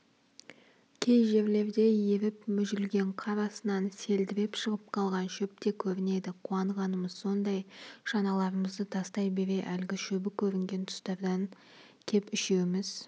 кей жерлерде еріп мүжілген қар астынан селдіреп шығып қалған шөп те көрінеді қуанғанымыз сондай шаналарымызды тастай бере әлгі шөбі көрінген тұстардан кеп үшеуміз